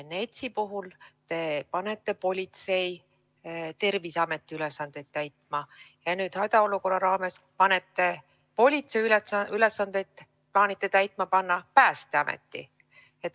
NETS-i puhul te panete politsei Terviseameti ülesandeid täitma, aga nüüd hädaolukorra raames plaanite politsei ülesandeid täitma panna Päästeameti.